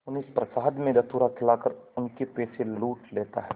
उन्हें प्रसाद में धतूरा खिलाकर उनके पैसे लूट लेता है